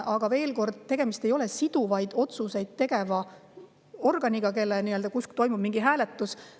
Aga veel kord, tegemist ei ole siduvaid otsuseid tegeva organiga, kus toimub mingi hääletus.